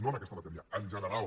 no en aquesta matèria en general